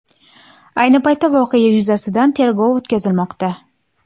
Ayni paytda voqea yuzasidan tergov o‘tkazilmoqda.